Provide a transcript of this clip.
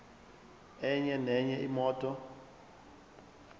enye nenye imoto